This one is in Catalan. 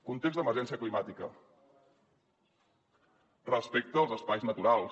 context d’emergència climàtica respecte als espais naturals